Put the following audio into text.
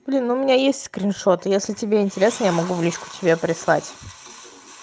блин у меня есть скриншот если тебе интересно я могу в личку тебе прислать